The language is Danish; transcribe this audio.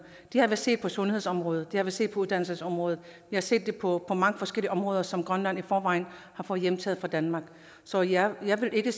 det har vi set på sundhedsområdet det har vi set på uddannelsesområdet vi har set det på mange forskellige områder som grønland i forvejen har fået hjemtaget fra danmark så jeg jeg vil ikke